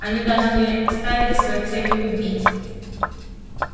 они даже не ставили своей целью убить